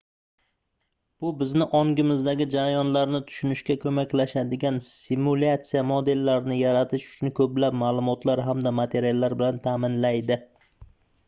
bu bizni ongimizdagi jarayonlarni tushunishga koʻmaklashadigan simulyatsiya modellarini yaratish uchun koʻplab maʼlumotlar hamda materiallar bilan taʼminlaydi